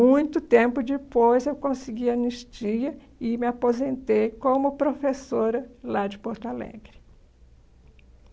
Muito tempo depois, eu consegui anistia e me aposentei como professora lá de Porto Alegre.